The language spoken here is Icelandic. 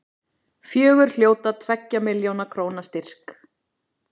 Fjögur hljóta tveggja milljóna króna styrk